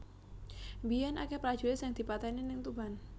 Mbiyen akeh prajurit sing dipateni ning Tuban